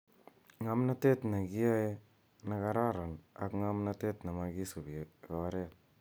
Nga mnatet ne kiyae ne kararan ak nga mnatetne makisubi koret.